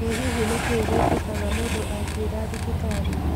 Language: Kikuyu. Ĩ hihi nĩ kĩĩ gĩkĩkaga mũndũ akuĩra thibitarĩ?